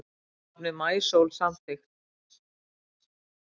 Nafnið Maísól samþykkt